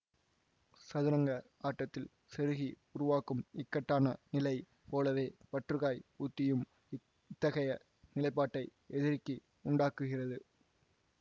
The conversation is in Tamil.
சதுரங்க ஆட்டத்தில் செருகி உருவாக்கும் இக்கட்டான நிலை போலவே பற்றுக்காய் ஊத்தியும் இத்தகைய நிலைப்பாட்டை எதிரிக்கு உண்டாக்குகிறது